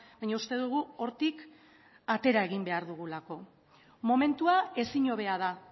baina uste dugu hortik atera egin behar dugulako momentua ezin hobea da